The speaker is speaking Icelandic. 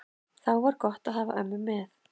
Þá var gott að hafa ömmu með.